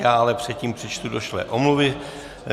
Já ale předtím přečtu došlé omluvy.